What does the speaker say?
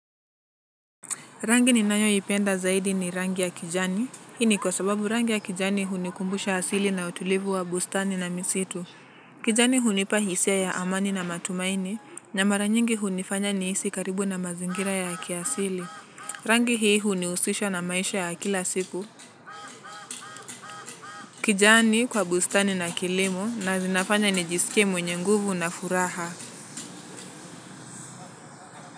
Rangi ninayo ipenda zaidi ni rangi ya kijani, ini kwa sababu rangi ya kijani hunikumbusha asili na utulivu wa bustani na misitu. Kijani hunipa hisia ya amani na matumaini, na mara nyingi hunifanya ni jihisi karibu na mazingira ya kiasili. Rangi hii unihusisha na maisha ya kila siku. Kijani kwa bustani na kilimo na zinafanya ni jisikie mwenye nguvu na furaha.